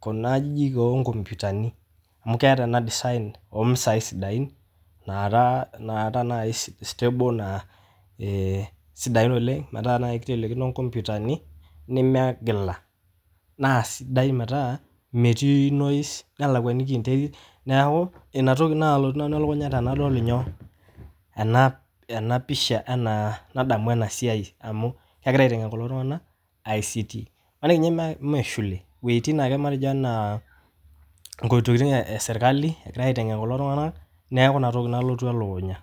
kuna ajijik oo nkoputani amu keata ana design lo misai sidain naara naib stable naa sidain oleng metaa naii keitelekino nkoputani nemegila, naa sidai metaa metii noise nelakuaniki interit naaku inatoki naalotu nanu ilakunya teneadol nyoo, ena pisha enaa, nadamu ena siai amuu kegirai aitengen kulo tunganak ICT maniki ninye emee eshukle, wejitin ake matejo anaa ntokitin e sirkali naitengen kulo tunganak naaku inatoki nalotu ilakunya.